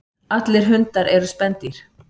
Allir hundar eru spendýr.